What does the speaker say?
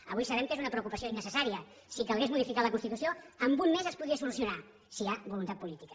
avui sabem que és una preocupació innecessària si calgués modificar la constitució en un mes es podria solucionar si hi ha voluntat política